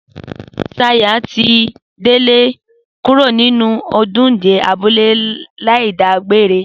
Sayò àti Délé kúrò ní ojúde abúlé láì dágbére